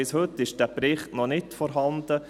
Bis heute ist dieser Bericht noch nicht vorhanden.